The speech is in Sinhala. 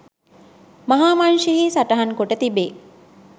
මහාවංශයෙහි සටහන්කොට තිබේ.